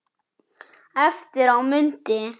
Eftir á mundi